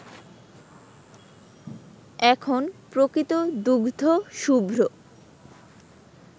এখন প্রকৃত দুগ্ধশুভ্র